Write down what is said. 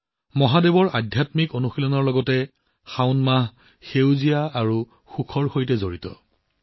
সদাশিৱ মহাদেৱক পূজা কৰাৰ সমান্তৰালকৈ শাওন সেউজীয়া আৰু সুখৰ সৈতে জড়িত